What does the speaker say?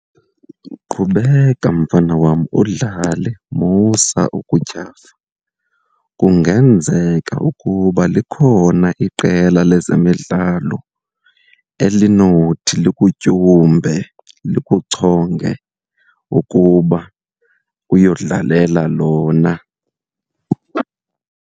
Qhubeka mfana wam udlale, musa ukutyhafa. Kungenzeka ukuba likhona iqela lezemidlalo elinothi likutyumbe, likuchonge ukuba uyodlalela lona.